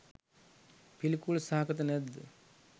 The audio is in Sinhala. පිළිකුල් සහගත නැද්ද?